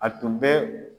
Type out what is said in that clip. A tun bɛ